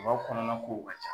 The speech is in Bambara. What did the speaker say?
kɔnɔna kow ka ca